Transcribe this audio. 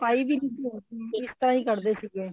ਛਪਾਈ ਵੀ ਨੀ ਹੁੰਦੀ ਸੀ ਇਸ ਤਰ੍ਹਾਂ ਹੀ ਕੱਢਦੇ ਸੀਗੇ